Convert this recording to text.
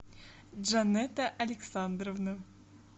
джанетта александровна